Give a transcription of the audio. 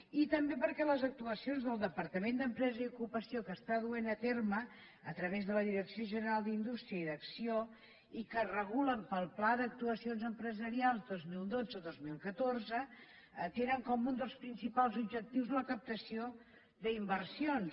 i també perquè les actuaci·ons del departament d’empresa i ocupació que està duent a terme a través de la direcció general d’in·dústria i d’acc1ó i que es regulen pel pla d’actuaci·ons empresarials dos mil dotze·dos mil catorze tenen com un dels prin·cipals objectius la captació d’inversions